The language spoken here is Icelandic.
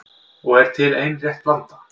Og er til ein rétt blanda